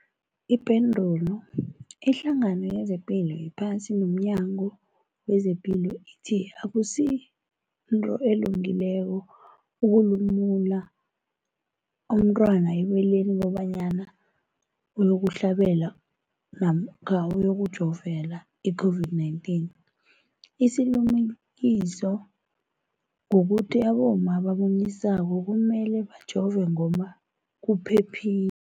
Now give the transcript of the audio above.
Ipendulo, iHlangano yezePilo yePhasi nomNyango wezePilo ithi akusinto elungileko ukulumula umntwana ebeleni kobanyana uyokuhlabela namkha uyokujovela i-COVID-19. Isilimukiso kukuthi abomma abamunyisako kumele bajove ngoba kuphephile.